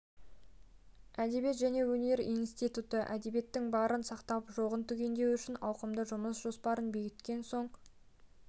әдебиет және өнер институты әдебиеттің барын сақтап жоғын түгендеу үшін ауқымды жұмыс жоспарын бекіткен соның